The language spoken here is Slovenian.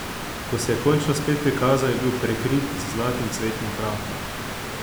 Ko se je končno spet prikazal, je bil prekrit z zlatim cvetnim prahom.